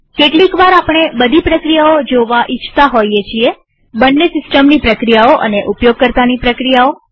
કેટલીકવાર આપણે બધી પ્રક્રિયાઓ જોવા ઈચ્છતા હોઈએ છીએ બંને સિસ્ટમની પ્રક્રિયાઓ અને ઉપયોગકર્તાની પ્રક્રિયાઓ